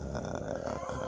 Aa